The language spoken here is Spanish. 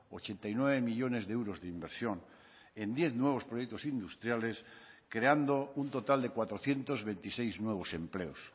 ochenta y nueve millónes de euros de inversión en diez nuevos proyectos industriales creando un total de cuatrocientos veintiséis nuevos empleos